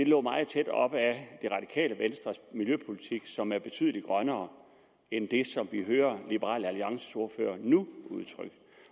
lå meget tæt op af det radikale venstres miljøpolitik som er betydelig grønnere end det som vi hører liberal alliances ordfører nu